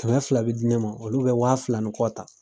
Kɛmɛ fila bɛ di ne ma olu bɛ waa fila ni kɔ ta